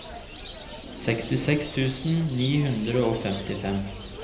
sekstiseks tusen ni hundre og femtifem